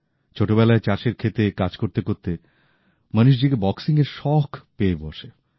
ছোটবেলায় চাষের ক্ষেতে কাজ করতে করতে মণীশজীকে বক্সিংয়ের শখ পেয়ে বসে